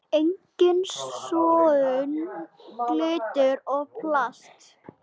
Engin sóun, glingur og plast.